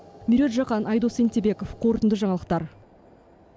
меруерт жақан айдос сентебеков қорытынды жаңалықтар